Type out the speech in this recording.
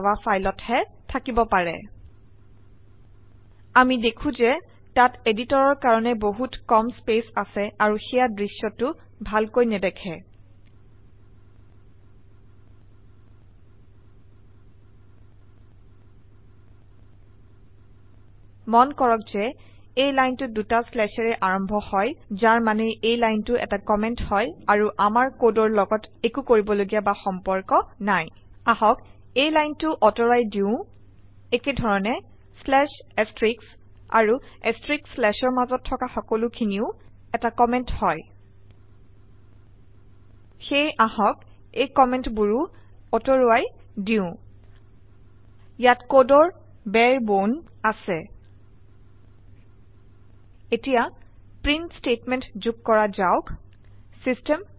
Java ফাইলত হে থাকিব পাৰে আমি দেখো যে তাত এদিটৰৰ কাৰনে বহুত কম স্পেচ আছে আৰু সেই দ্ৃশ্য টো ভালকৈ নেদেখে মন কৰক যে এই লাইনটো দুটা শ্লেছেৰে আৰম্ভ হয় যাৰ মানে এই লাইনটো এটা কমেন্ট হয় আৰু আমাৰ কদৰ লগত একো কৰিবলগীয়া বা সম্পৰ্ক নাই আহক এই লাইনটো অতৰুৱাই দিও একেধৰণে শ্লেচ এষ্ট্ৰিশ আৰু এষ্ট্ৰিশ শ্লেচ অৰ মাজত থকা সকলোখিনিও এটা কমেন্ট হয় সেয়ে আহক এই কমেন্ট বোৰও অতৰুৱাই দিও ইয়াত কদৰ বাৰে বনে আছে এতিয়া প্ৰীন্ট স্টেতমেন্ত যোগ কৰা যাওক চিষ্টেম